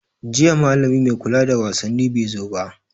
Jiya malami mai kula da wasaanni bai zo ba.